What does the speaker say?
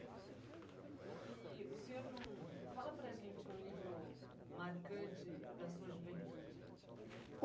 E o senhor não... fala para a gente um livro marcante da sua juventude.